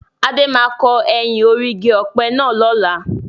Adé máa kọ ẹyìn orí igi ọ̀pẹ náà lọ́la.